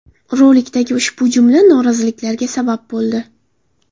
Rolikdagi ushbu jumla noroziliklarga sabab bo‘ldi.